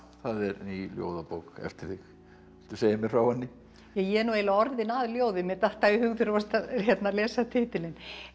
það er ný ljóðabók eftir þig viltu segja mér frá henni ég er nú eiginlega orðin að ljóði mér datt það í hug þegar þú varst að lesa titilinn